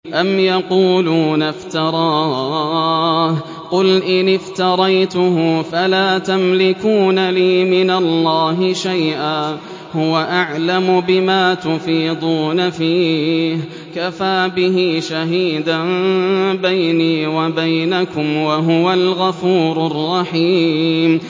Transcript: أَمْ يَقُولُونَ افْتَرَاهُ ۖ قُلْ إِنِ افْتَرَيْتُهُ فَلَا تَمْلِكُونَ لِي مِنَ اللَّهِ شَيْئًا ۖ هُوَ أَعْلَمُ بِمَا تُفِيضُونَ فِيهِ ۖ كَفَىٰ بِهِ شَهِيدًا بَيْنِي وَبَيْنَكُمْ ۖ وَهُوَ الْغَفُورُ الرَّحِيمُ